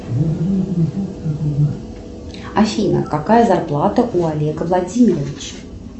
афина какая зарплата у олега владимировича